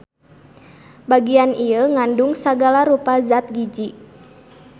Bagian ieu ngandung sagala rupa zat giji.